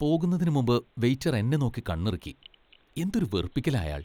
പോകുന്നതിനുമുമ്പ് വെയിറ്റർ എന്നെ നോക്കി കണ്ണിറുക്കി. എന്തൊരു വെറുപ്പിക്കലാ അയാൾ .